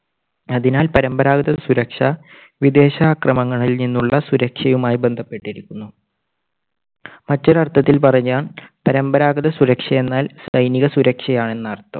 അതിനാൽ പരമ്പരാഗത സുരക്ഷ വിദേശാക്രമണങ്ങളിൽ നിന്നുള്ള സുരക്ഷയുമായി ബന്ധപ്പെട്ടിരിക്കുന്നു. മറ്റൊരർത്ഥത്തിൽ പറഞ്ഞാൽ പരമ്പരാഗത സുരക്ഷ എന്നാൽ സൈനിക സുരക്ഷ ആണെന്നർത്ഥം.